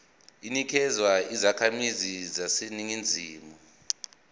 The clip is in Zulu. inikezwa izakhamizi zaseningizimu